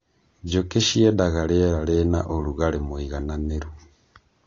Njũkĩ ciendaga rĩera rĩna ũrugarĩ mũigananĩru.